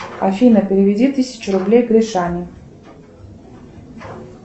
афина переведи тысяче рублей гришане